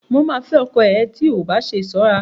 Mo ma fẹ́ ọkọ ẹ tí ò bá ṣe ṣọ́ra